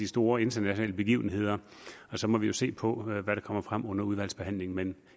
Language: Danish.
store internationale begivenheder så må vi jo se på hvad der kommer frem under udvalgsbehandlingen